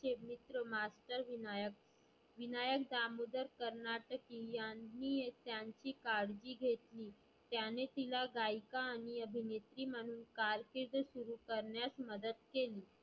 चे मित्र मास्तर विनायक विनायक दामोदर कारनाटकी यांनी त्यांची काळजी घेतली. त्यांनी तीला गायीका आणि अभिनेत्री म्हणुन कारकिर्द सुरु करण्यास मदत केली